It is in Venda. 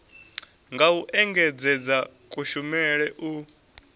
nga u engedzedza kushumele u